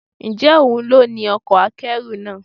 Ǹjẹ́ òun ló ní ọkọ̀ akẹ́rù náà?